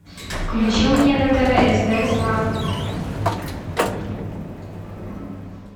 включи мне на тв стс лав